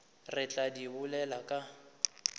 re tla di bolela ka